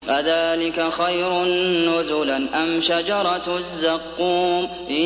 أَذَٰلِكَ خَيْرٌ نُّزُلًا أَمْ شَجَرَةُ الزَّقُّومِ